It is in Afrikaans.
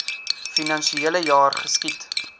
finansiele jaar geskied